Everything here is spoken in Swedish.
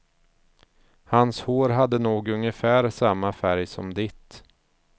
Hans hår hade nog ungefär samma färg som ditt.